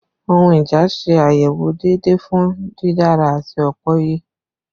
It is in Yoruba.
Ohun ija ṣe ayewo deede fun didara ati opoiye